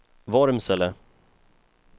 Vormsele